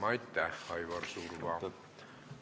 Aitäh, Aivar Surva!